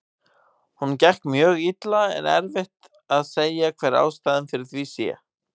Honum gekk mjög illa en erfitt að segja hver ástæðan fyrir því sé.